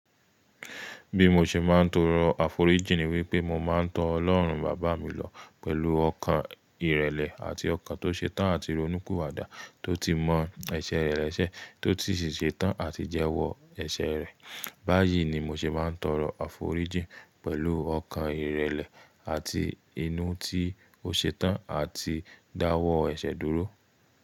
Bí mo ṣe máa ń torọ àforíjìn ni wípé mo máa ń to Ọlọ́run baba mi lọ pẹ̀lú ọkàn ìrẹ̀lẹ̀ àti ọkàn tó ṣetán àti ronúpiwadá tó ti mọ ẹsẹ̀ rẹ lẹ́sẹ̀, tó sì ṣetán àti jẹ́wọ ẹsẹ̀ rẹ̀. Báyìí ni mo ṣe máa ń torọ àforíjìn pẹ̀lú ọkàn ìrẹ̀lẹ̀ àti inú tí ó ṣetán àti dáwọ́ ẹsẹ̀ dúró.